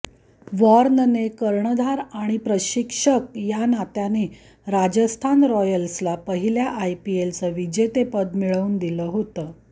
वॉर्नने कर्णधार आणि प्रशिक्षक या नात्याने राजस्थान रॉयल्सला पहिल्या आयपीएलचं विजेतेपद मिळवून दिलं होतं